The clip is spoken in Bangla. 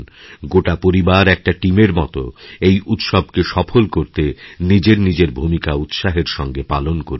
গোটা পরিবার একটা টিমের মত এই উৎসবকে সফলকরতে নিজেরনিজের ভূমিকা উৎসাহের সঙ্গে পালন করুন